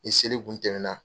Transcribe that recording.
Ni seli kun tɛmɛ na